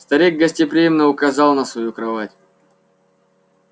старик гостеприимно указал на свою кровать